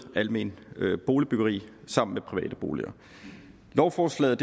alment boligbyggeri sammen med private boliger lovforslaget